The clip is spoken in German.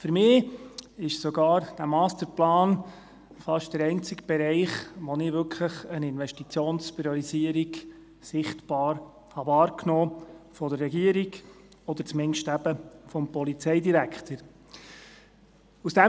Für mich ist dieser Masterplan sogar fast der einzige Bereich, wo ich wirklich eine Investitionspriorisierung von der Regierung oder zumindest eben vom Polizeidirektor sichtbar wahrgenommen habe.